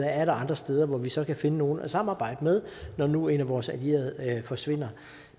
er andre steder hvor vi så kan finde nogle at samarbejde med når nu en af vores allierede forsvinder